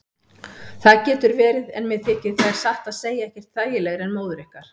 Það getur verið en mér þykir þær satt að segja ekkert þægilegri en móður ykkar.